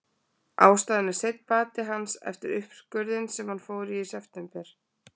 Ástæðan er seinn bati hans eftir uppskurðinn sem hann fór í í september.